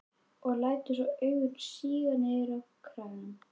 Og lætur svo augun síga niður á kragann.